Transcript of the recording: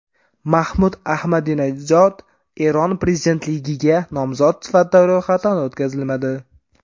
Mahmud Ahmadinajod Eron prezidentligiga nomzod sifatida ro‘yxatdan o‘tkazilmadi.